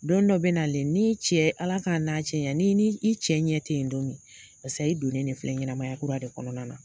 Don dɔ be nalen ni cɛ ala k'a n'a cɛ janya, n'i cɛ ɲɛ te yen don min paseke i donnen de filɛ nin ye ɲɛnamaya kura de kɔnɔna na.